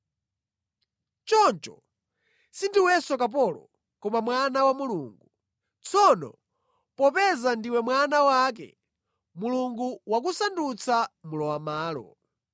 Choncho sindiwenso kapolo, koma mwana wa Mulungu. Tsono popeza ndiwe mwana wake, Mulungu wakusandutsanso mlowamʼmalo.